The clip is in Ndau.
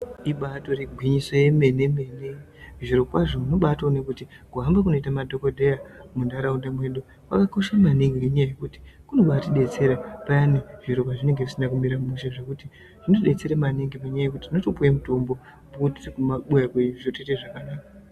Ibaatori gwinyiso yemene-mene, zvirokwazvo unotobaaone kuti kuhamba kunoita madhokodheya muntharaunda mwedu kwakakosha maningi, ngenyaya yekuti kunobaatidetsera, payani zviro pazvinenge zvisina kumira mushe ,zvekuti zvinodetsere maningi, ngenyaya yekuti unotopiwe mitombo apo tiri kumabuya kwedu, zviro zvotoite zvakanaka.